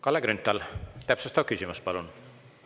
Kalle Grünthal, täpsustav küsimus, palun!